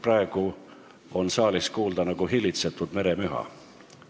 Praegu on saalist kuulda nagu hillitsetud meremüha.